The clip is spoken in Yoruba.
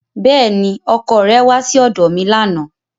Bẹ́ẹ̀ni, ọkọ rẹ kò wá sí ọ̀dọ̀ mi lánàá